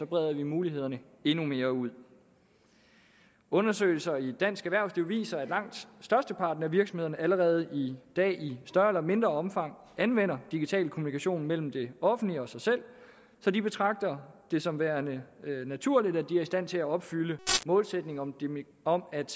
breder vi mulighederne endnu mere ud undersøgelser i dansk erhvervsliv viser at langt størsteparten af virksomhederne allerede i dag i større eller mindre omfang anvender digital kommunikation mellem det offentlige og sig selv så de betragter det som værende naturligt at de er i stand til at opfylde målsætningen om om at